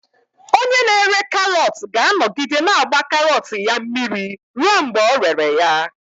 Onye na-ere karọt ga-anọgide na-agba karọt ya mmiri ruo mgbe ọ rere ya.